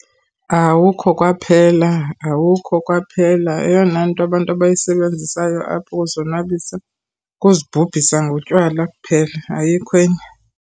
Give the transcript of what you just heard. Awukho kwaphela, awukho kwaphela. Eyona nto abantu abayisebenzisayo apha ukuzonwabisa kuzibhubhisa ngotywala kuphela, ayikho enye.